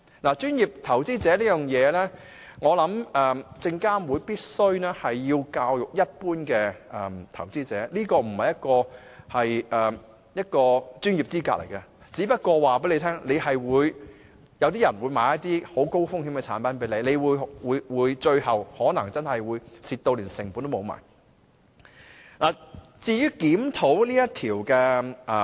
就"專業投資者"資格方面，我認為證監會必須教育一般投資者，這不是一個專業資格，它只不過告訴你，有些人可能會向你銷售一些很高風險的產品，你最終可能賠本，甚至連本金也取不回。